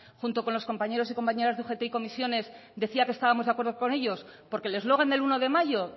junto con los compañeros y compañeras de ugt y ccoo decía que estábamos de acuerdo con ellos porque el eslogan del uno de mayo